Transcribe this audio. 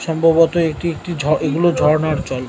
সম্ভবত এটি একটি এগুলো ঝর্ণার জল ।